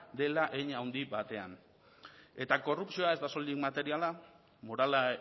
dela hein handi batean eta korrupzioa ez da soilik materiala morala